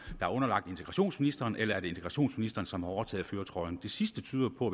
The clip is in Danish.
er underlagt integrationsministeren eller er det integrationsministeren som har overtaget førertrøjen det sidste tyder på